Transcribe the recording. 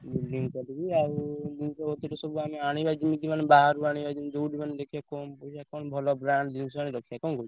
Building କରିବି ଆଉ ଜିନିଷ ପତ୍ର ସବୁ ଆମେ ଆଣିବା ଯିମିତି ମାନେ ବାହାରୁ ଆଣିବା ଯିମି ଯୋଉଠୁ ମାନେ ଦେଖିଆ କମ୍ ପଇସା କଣ ଭଲ brand ଜିନିଷ ଆଣି ରଖିଆ। କଣ କହୁଛ?